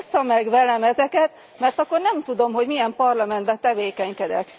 Ossza meg velem ezeket, mert akkor nem tudom, hogy milyen parlamentben tevékenykedek.